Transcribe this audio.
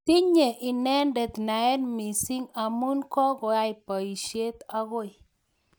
Tinye inendet naet missing amu kokwai boishet akoi.